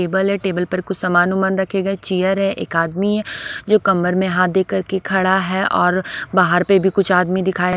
table है table पर कुछ सामान ओमान रखे गए हैं चीयर है एक आदमी है जो कमर में हाथ देकर के खड़ा है और बाहर पे भी कुछ आदमी दिखाई--